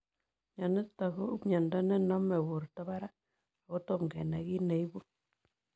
Mionitok ko miondoo nenomee porto parak akotomoo kenai kiit neibuu.